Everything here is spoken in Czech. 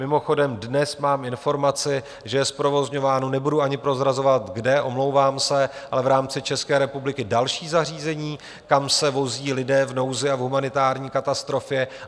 Mimochodem dnes mám informaci, že je zprovozňováno - nebudu ani prozrazovat kde, omlouvám se - ale v rámci České republiky další zařízení, kam se vozí lidé v nouzi a v humanitární katastrofě.